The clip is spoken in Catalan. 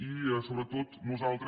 i sobretot nosaltres